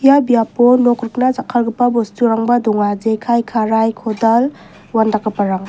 biapo nok rikna jakkalgipa bosturangba donga jekai karai kodal uandakgiparang.